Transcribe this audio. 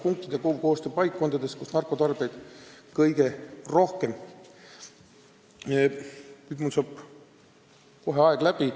" Nüüd saab mul kohe aeg läbi.